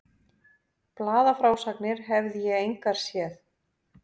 Blaðafrásagnir hefði ég engar séð.